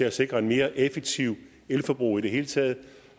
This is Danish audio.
at sikre et mere effektivt elforbrug i det hele taget